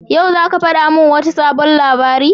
Yau zaka fadi mun wata sabon labari?